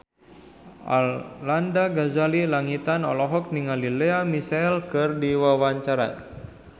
Arlanda Ghazali Langitan olohok ningali Lea Michele keur diwawancara